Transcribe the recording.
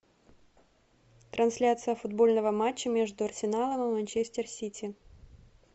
трансляция футбольного матча между арсеналом и манчестер сити